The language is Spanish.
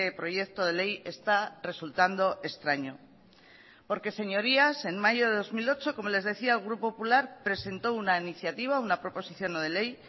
proyecto de ley está resultando extraño porque señorías en mayo de dos mil ocho como les decía el grupo popular presentó una iniciativa una proposición no de ley